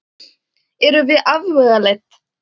Erum við afvegaleidd?